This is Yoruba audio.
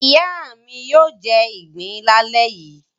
Ìyá mi yóò jẹ ìgbín lálẹ́ yìí.